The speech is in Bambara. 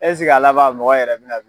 a laban mɔgɔ yɛrɛ be na